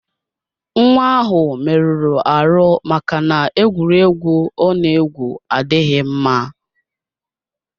Nwa ahụ merụrụ ahụ maka na egwuregwu Ona egwu adịghị mma.